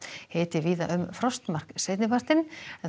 hiti víða um frostmark seinni partinn